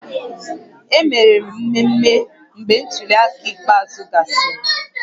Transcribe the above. E mere mmemmé mgbe ntuli aka ikpeazụ gasịrị